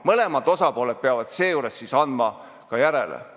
Mõlemad osapooled peavad seejuures andma ka järele.